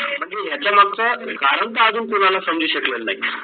म्हणजे ह्याच्या मागचं कारण तर अजून कोणाला समजू शकलं नाही